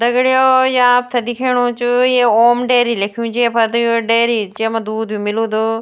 दग्ड़ियों ये आपथे दिखेणु च ये ओम डेरी लिख्युं च ये फर त डेरी च येमा दूध भी मिलुद --